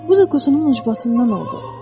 Bu da quzunun ucbatından oldu.